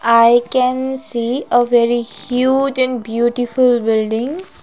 I can see a very huge and beautiful buildings.